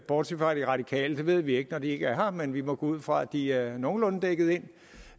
bortset fra de radikale for det ved vi ikke når de ikke er her men vi må gå ud fra at de er nogenlunde dækket ind